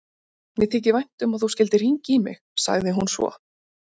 Mér þykir vænt um að þú skyldir hringja í mig, sagði hún svo.